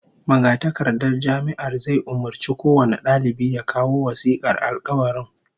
Magatakardar Jami'ar zai umurci kowane dalibi ya kawo wasikar alkawarin